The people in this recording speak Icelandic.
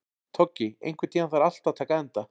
Toggi, einhvern tímann þarf allt að taka enda.